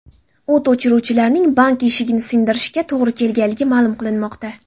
O‘t o‘chiruvchilarning bank eshigini sindirishiga to‘g‘ri kelganligi ma’lum qilinmoqda.